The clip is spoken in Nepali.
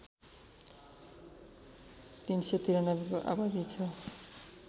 ३९३को आबादि छ